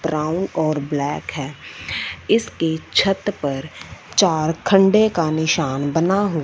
brown और black है इसकी छत पर चार खंडे का निशान बना हुआ--